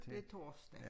Det torsdag